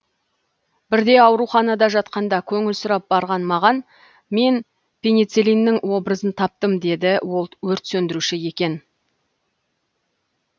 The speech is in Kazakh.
бірде ауруханада жатқанда көңіл сұрап барған маған мен пеницеллиннің образын таптым деді ол өрт сөндіруші екен